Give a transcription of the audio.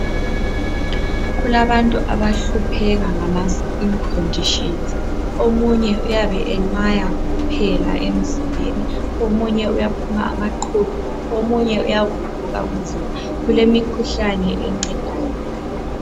Kulabantu abahlupheka ngama skini khondishinzi. Omunye uyabe enwaya kokuphela emzimbeni, omunye uyaphuma amaqhubu, omunye uyavuvuka umzimba. Kulemithi encedayo khonalokho.